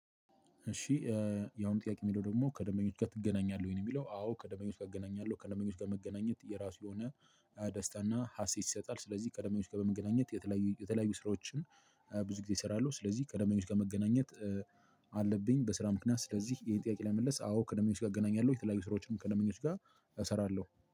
እሺ ያሁኑ ጥያቄ የሚለው ደግሞ ከደንበኞች ጋር ትገናኛለህ? ወይን የሚለው አዎ ከደንበኞች ጋር እገናኛለሁ ከደመኛው ውስጥ ከመገናኘት የራሱ የሆነ ደስታና ሀሴት ይሰጣል። ስለዚህ ከደምበኞች ከበመገናኘት የተለያዩ የተለያዩ ስራዎችን ብዙ ጊዜ እሰራለሁ። ስለዚህ ቀደመኞች ከመገናኘት አለብኝ በስራ ምክንያት ስለዚህ ይሄን ጥያቄ ላይ መልስ አዎ ከደንበኞች ጋር እገናኛለሁ። የተለያዩ ስራዎችንም ከደንበኞች ጋር እሰራለሁ